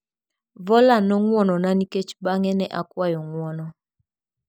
Voller nong'wonona nikech bang'e ne akwayo ng'wono.